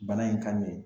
Bana in ka nin